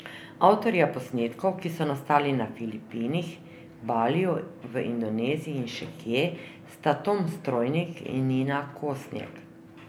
Avtorja posnetkov, ki so nastali na Filipinih, Baliju, v Indoneziji in še kje, sta Tom Strojnik in Nina Kosnjek.